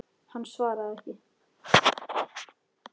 Hann svaraði ekki.